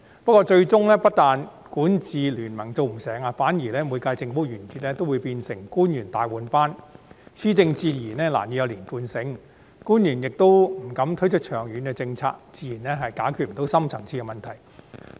不過，最終不但管治聯盟做不成，反而每屆政府完結皆會變成官員大換班，施政自然難以有連貫性，官員亦不敢推出長遠政策，自然不能解決深層次矛盾。